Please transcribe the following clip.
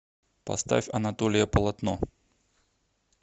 поставь анатолия полотно